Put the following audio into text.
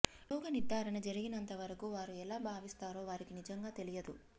రోగ నిర్ధారణ జరిగినంతవరకు వారు ఎలా భావిస్తారో వారికి నిజంగా తెలియదు